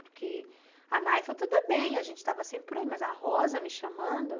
Porque a Nay foi tudo bem, a gente estava sempre por aí, mas a Rosa me chamando?